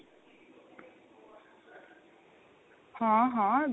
ਹਾਂ ਹਾਂ.